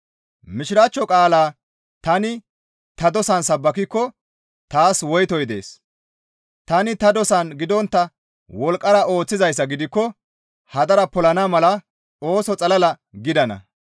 Mishiraachcho qaalaa tani ta dosan sabbakikko taas woytoy dees; tani ta dosan gidontta wolqqara ooththizayssa gidikko hadara polana mala ooso xalala gidana.